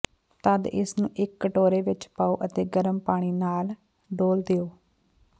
ਤਦ ਇਸਨੂੰ ਇੱਕ ਕਟੋਰੇ ਵਿੱਚ ਪਾਓ ਅਤੇ ਗਰਮ ਪਾਣੀ ਨਾਲ ਡੋਲ੍ਹ ਦਿਓ